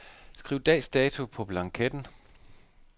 Skriv dags dato på blanketten.